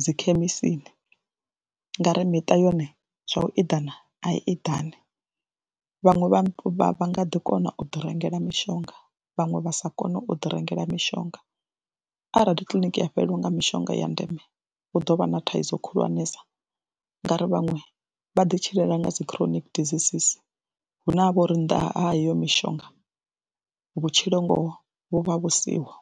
dzi khemisini nga ri miṱa yone zwa u eḓana a i eḓani. Vhaṅwe vha vha nga ḓi kona u ḓi rengela mishonga vhaṅwe vha sa kone u ḓi rengela mishonga, arali kiḽiniki ya fhelelwa nga mishonga ya ndeme hu ḓo vha na thaidzo khulwanesa ngauri vhaṅwe vha ḓitshilela nga dzi chronic diseases hune ha vho ri nnḓa ha iyo mishonga vhutshilo ngoho vhu vha vhu siho.